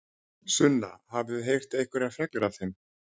Sunna: Hafið þið heyrt einhverjar fregnir af þeim?